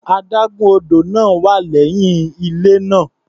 Adágún odò náà wà lẹ́yìn ilé náà.